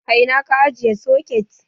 A ina ka ajiye soket?